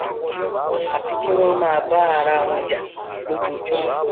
àfi kí wọn máa bá arawọn jà lójoojúmọ